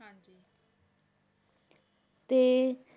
ਤੇ